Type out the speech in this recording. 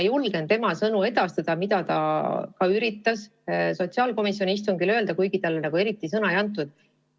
Julgen tema sõnu edastada, mida ta üritas ka sotsiaalkomisjoni istungil öelda, kuigi talle eriti sõna ei antud.